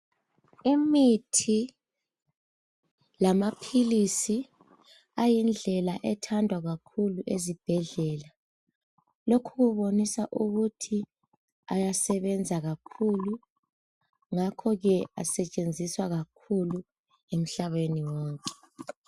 Imithi lamaphilisi ayindlela ethandwa kakhulu ezibhedlela, lokhu kubonisa ukuthi ayasebenza kakhulu ngakho ke asetshenziswa kakhulu emhlabeni wonke.